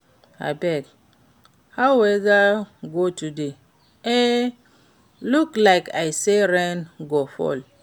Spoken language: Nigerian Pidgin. Abeg, how weather go today? E look like say rain go fall.